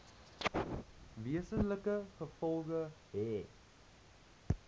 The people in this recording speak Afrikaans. wesenlike gevolge hê